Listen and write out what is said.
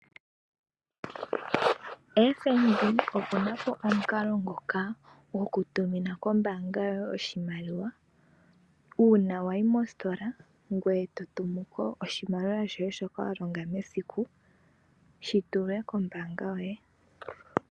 FNB oku na po omukalo ngoka gokutumina kombaanga yoye oshimaliwa uuna wa yi mositola ngoye to tumu ko oshimaliwa shoye shoka wa longa mesiku shi tulwe kombaanga yoye.